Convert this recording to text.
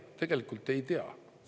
Tegelikult ei tea.